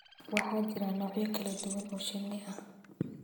Waxaa jira noocyo kala duwan oo shinni ah,